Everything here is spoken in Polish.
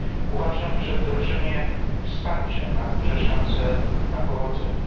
Uważam, że wdrożenie wsparcia ma duże szanse na powodzenie.